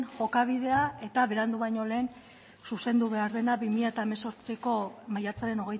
jokabidea eta berandu baino lehen zuzendu behar dena bi mila hemezortziko maiatzaren